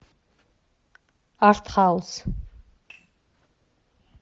арт хаус